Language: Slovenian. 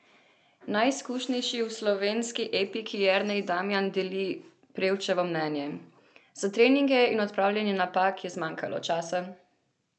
Najizkušenejši v slovenski ekipi Jernej Damjan deli Prevčevo mnenje: "Za treninge in odpravljanje napak je zmanjkalo časa.